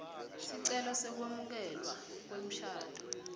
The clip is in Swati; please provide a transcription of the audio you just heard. sicelo sekwemukelwa kwemshado